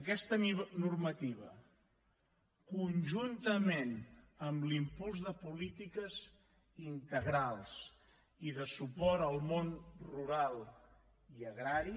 aquesta normativa conjuntament amb l’impuls de polítiques integrals i de suport al món rural i agrari